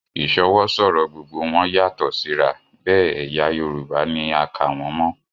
Ìsọwọ́ sọ̀rọ̀ gbogbo wọn yàtọ̀ síra, bẹ́ẹ̀ ẹ̀yà Yorùbá ni a kà wọ́n mọ